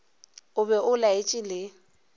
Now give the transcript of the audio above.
o be o laetše le